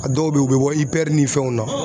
A dɔw bɛ yen u bɛ bɔ IPR ni fɛnw na